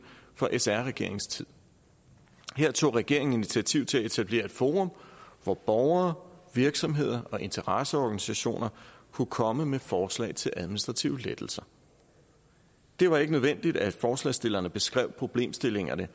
fra sr regeringens tid her tog regeringen initiativ til at etablere et forum hvor borgere virksomheder og interesseorganisationer kunne komme med forslag til administrative lettelser det var ikke nødvendigt at forslagsstillerne beskrev problemstillingerne